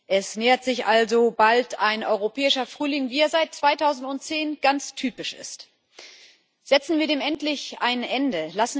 Es nähert sich also bald ein europäischer Frühling, wie er seit 2010 typisch ist. Setzen wir dem endlich ein Ende!